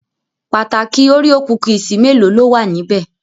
Pataki òréò kúkísì mélòó ló wà níbẹ̀?